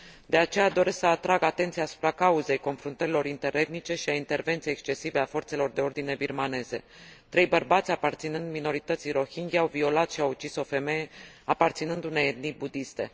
De aceea doresc să atrag atenția asupra cauzei confruntărilor interetnice și a intervenției excesive a forțelor de ordine birmaneze. Trei bărbați aparținând minorității rohingya au violat și au ucis o femeie aparținând unei etnii budiste.